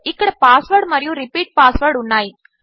ఇక్కడ పాస్వర్డ్ మరియు repeat password ఉన్నాయి